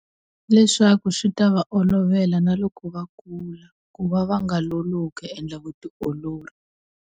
Leswaku swi ta va olovela na loko va kula ku va va nga lolohi ku endla vutiolori.